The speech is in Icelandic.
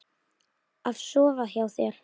Af sofa hjá þér?